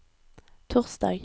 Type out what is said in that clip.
torsdag